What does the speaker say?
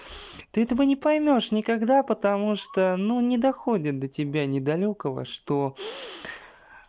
ты этого не поймёшь никогда потому что ну не доходит до тебя недалёкого что